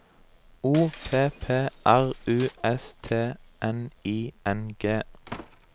O P P R U S T N I N G